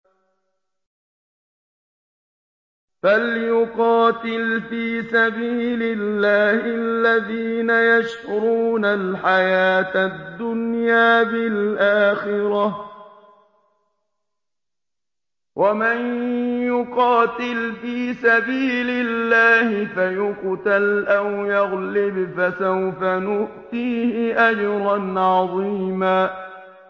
۞ فَلْيُقَاتِلْ فِي سَبِيلِ اللَّهِ الَّذِينَ يَشْرُونَ الْحَيَاةَ الدُّنْيَا بِالْآخِرَةِ ۚ وَمَن يُقَاتِلْ فِي سَبِيلِ اللَّهِ فَيُقْتَلْ أَوْ يَغْلِبْ فَسَوْفَ نُؤْتِيهِ أَجْرًا عَظِيمًا